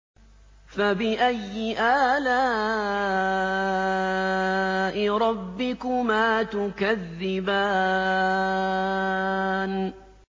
فَبِأَيِّ آلَاءِ رَبِّكُمَا تُكَذِّبَانِ